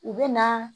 U bɛ na